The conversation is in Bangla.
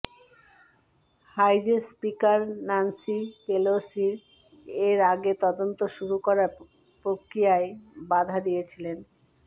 হাউজের স্পিকার ন্যান্সি পেলোসি এর আগে তদন্ত শুরু করার প্রক্রিয়ায় বাধা দিয়েছিলেন